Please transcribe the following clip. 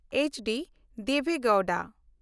HD. Deve Gowda